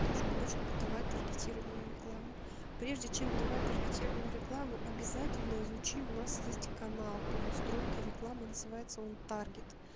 должно быть чтобы давать таргетированную рекламу прежде чем давать таргетированную рекламу обязательно изучи у нас есть канал по настройке рекламы называется он таргет